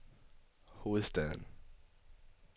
hovedstaden